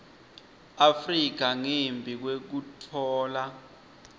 afrika ngembi kwekutfola